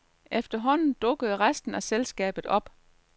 Efterhånden dukkede resten af selskabet op.